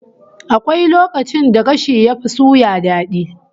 Akwai lokacin da gashi yafi suya dadi